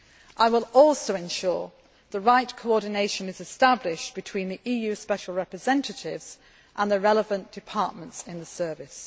I will also ensure that the right coordination is established between the EU special representatives and the relevant departments in the Service.